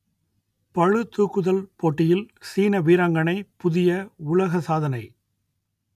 பளுதூக்குதல் போட்டியில் சீன வீராங்கனை புதிய உலக சாதனை